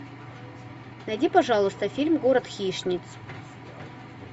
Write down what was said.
найди пожалуйста фильм город хищниц